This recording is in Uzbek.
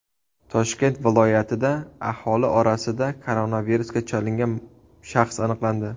Toshkent viloyatida aholi orasida koronavirusga chalingan shaxs aniqlandi.